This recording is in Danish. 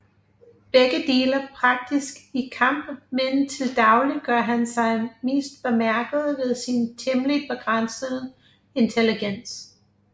Begge dele praktisk i kamp men til dagligt gør han sig mest bemærket ved sin temmelig begrænsede intelligens